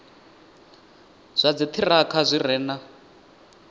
zwa dziṱhirakha zwi re na